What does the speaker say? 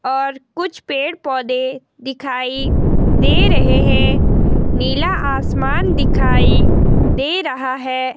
और कुछ पेड़ पौधे दिखाई दे रहे हैं नीला आसमान दिखाई दे रहा है।